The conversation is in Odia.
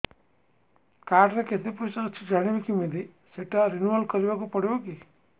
କାର୍ଡ ରେ କେତେ ପଇସା ଅଛି ଜାଣିବି କିମିତି ସେଟା ରିନୁଆଲ କରିବାକୁ ପଡ଼ିବ କି